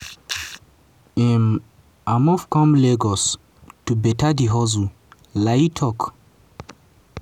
im i move come lagos to better di hustle" layi tok.